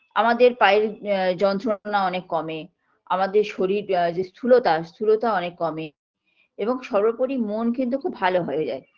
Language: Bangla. আমাদের পায়ের আ যন্ত্রণা অনেক কমে আমাদের শরীরের যে স্থূলতা স্থূলতা অনেক কমে এবং সর্বোপরি মন কিন্তু খুব ভালো হয়ে যায়